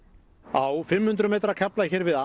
á fimm hundruð metra kafla hér við